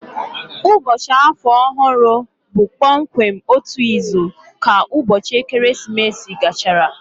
Ụbọchị Afọ Ọhụrụ bụ kpọmkwem otu izu ka ụbọchị ekeresimesi gachara